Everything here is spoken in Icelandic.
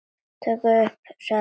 Þeir krupu niður að Magga.